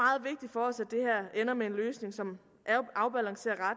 ender med en løsning som afbalancerer